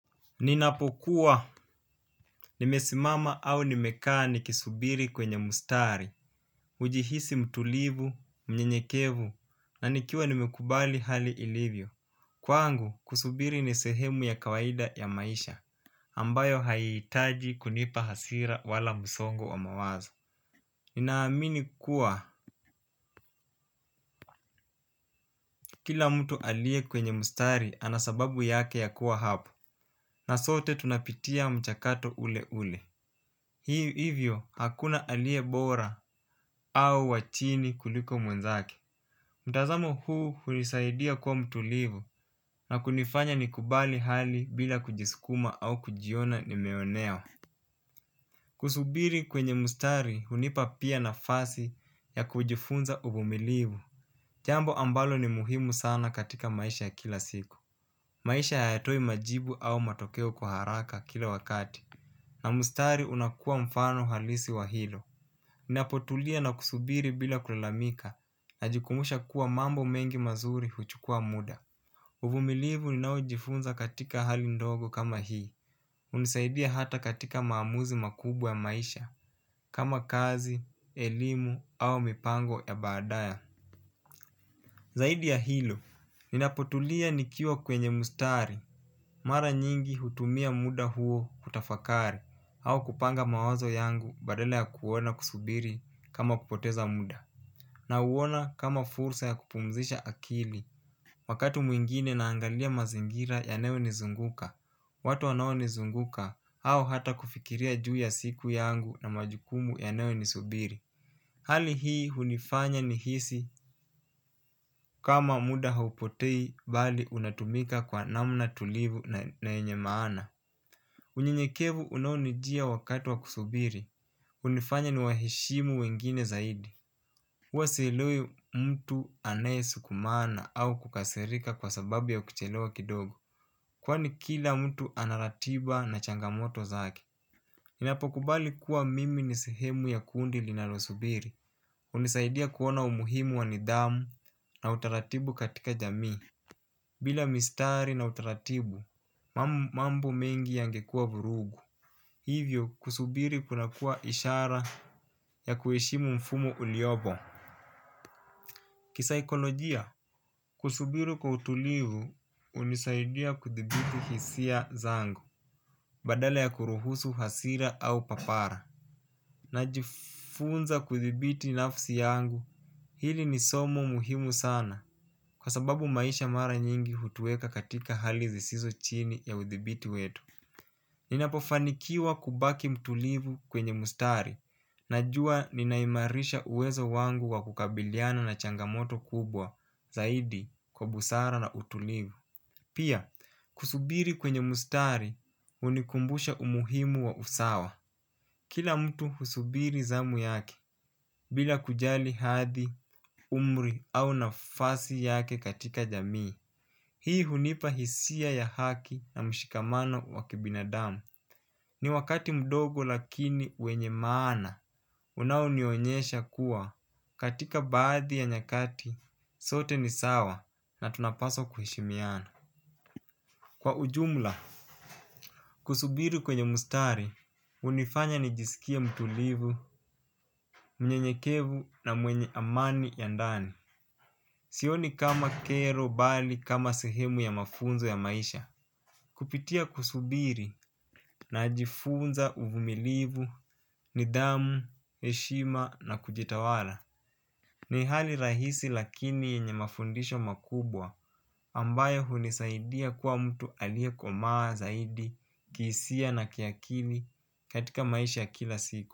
Ninapokuwa, nimesimama au nimekaa nikisubiri kwenye mustari. Ujihisi mtulivu, mnyenyekevu, nanikiwa nimekubali hali ilivyo. Kwa angu, kusubiri nisehemu ya kawaida ya maisha ambayo haitaji kunipa hasira wala musongo wa mawazo. Ninaamini kuwa, kila mtu alie kwenye mustari anasababu yake ya kuwa hapo. Na sote tunapitia mchakato ule ule. Hii hivyo hakuna aliebora au wachini kuliko mwenzake. Mtazamo huu unisaidia kuwa mtulivu na kunifanya nikubali hali bila kujiskuma au kujiona nimeonewa. Kusubiri kwenye mustari unipa pia na fasi ya kujifunza ubumilivu. Jambo ambalo ni muhimu sana katika maisha kila siku. Maisha hayatoi majibu au matokeo kwa haraka kila wakati. Na mustari unakua mfano halisi wa hilo. Ninapotulia na kusubiri bila kulalamika na jikumbusha kuwa mambo mengi mazuri huchukua muda. Uvumilivu ninaujifunza katika hali ndogo kama hii. Unisaidia hata katika maamuzi makubwa maisha kama kazi, elimu au mipango ya badaya. Zaidi ya hilo ninapotulia nikiwa kwenye mustari. Mara nyingi hutumia muda huo kutafakari au kupanga mawazo yangu badala ya kuona kusubiri kama kupoteza muda na uona kama fursa ya kupumzisha akili wakatu mwingine naangalia mazingira yanayo ni zunguka watu wanao ni zunguka au hata kufikiria juu ya siku yangu na majukumu yanayoni subiri hali hii unifanya ni hisi kama muda haupotei bali unatumika kwa namna tulivu na yenye maana unye nyekevu unaonijia wakati wa kusubiri. Unifanya ni wahishimu wengine zaidi. Uwasielewi mtu anayesukumana au kukasirika kwa sababu ya ukuchelewa kidogo. Kwani kila mtu anaratiba na changamoto zake. Ninapokubali kuwa mimi nisehemu ya kundi linalo subiri. Unisaidia kuona umuhimu wanidhamu na utaratibu katika jami. Bila mistari na utaratibu mambo mengi yangekua vurugu. Hivyo kusubiri kunakua ishara ya kueshimu mfumo uliobo. Kisaikolojia, kusubiri kwa utulivu unisaidia kuthibiti hisia zangu, badala ya kuruhusu hasira au papara. Najifunza kuthibiti nafsi yangu, hili ni somo muhimu sana kwa sababu maisha mara nyingi hutueka katika hali zisizo chini ya uthibiti wetu. Ninapofanikiwa kubaki mtulivu kwenye mustari. Najua ninaimarisha uwezo wangu wa kukabiliana na changamoto kubwa zaidi kwa busara na utulivu. Pia, kusubiri kwenye mustari unikumbusha umuhimu wa usawa. Kila mtu husubiri zamu yake. Bila kujali hadhi, umri au nafasi yake katika jamii. Hii hunipahisia ya haki na mshikamanano wa kibinadamu. Ni wakati mdogo lakini wenye maana, unaunionyesha kuwa katika baadhi ya nyakati sote ni sawa na tunapaswa kuhishimiana. Kwa ujumla, kusubiri kwenye mustari, unifanya nijisikie mtulivu, mnyenyekevu na mwenye amani ya ndani. Sioni kama kero bali kama sehemu ya mafunzo ya maisha. Kupitia kusubiri na ajifunza uvumilivu, nidamu, eshima na kujitawala. Ni hali rahisi lakini yenye mafundisho makubwa ambayo hunisaidia kwa mtu alia komaa zaidi kisia na kiakili katika maisha kila siku.